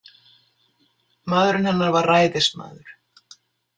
Maðurinn hennar var ræðismaður.